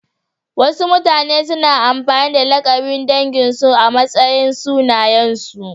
Wasu mutane suna amfani da lakabin danginsu a matsayin sunayensu.